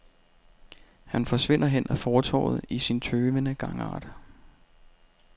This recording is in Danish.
Han forsvinder hen ad fortovet i sin tøvende gangart.